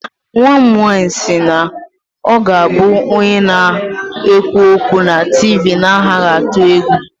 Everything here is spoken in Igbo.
Nwa m nwanyị si na ọ ga-abụ onye na-ekwu okwu na TV na-anaghị atụ egwu